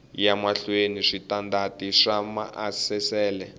ya mahlweni switandati swa maasesele